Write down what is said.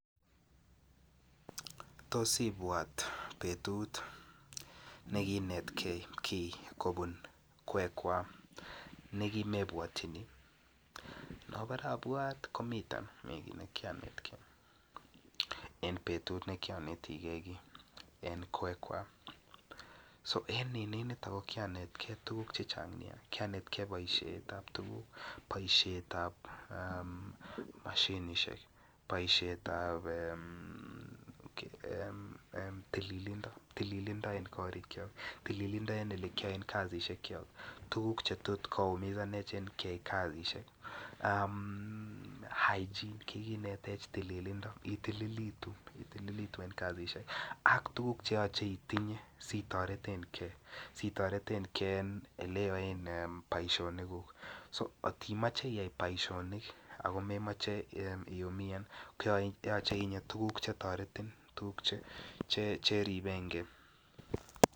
Tos ibwat betut nekiinetgei kobun kwekwa nekimebwatini anabore abwat komiten kit ne ki anetegei en kwekwa so en kwekwa ko ki anetgei tuguk Che Chang Nia ki anetegei boisiet ab tuguk boisiet ab mashinisiek boisiet ab tililindo en korikyok tililindo en Ole kiyoen kasisyekyok tuguk Che tot koumisanech en kyai kasisyek hygiene kikinetech tililindo itilitu en kasisyek ak tuguk Che yoche itinye si toreten ge en Ole yoen boisionikuk angot imoche iyai boisionik ago memoche iumian koyoche itinye tuguk Che toreten ge tuguk Che riben ge